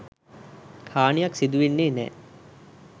හානියක් සිදුවෙන්නේ නෑ.